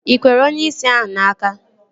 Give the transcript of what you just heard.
Ị kwere onyeisi ahụ n'aka?